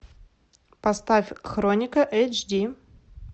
поставь хроника эйч ди